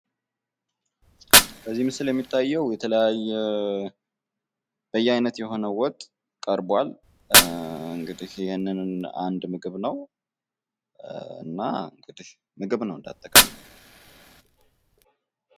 በዚህ ምስል የሚታየው የተለያየ በየአይነት የሆነ ወጥ ቀርቧል። እንግዲህ ይህንን አንድ ምግብ ነው። እና እንግዲህ ምግብ ነው እንደአጠቃላይ።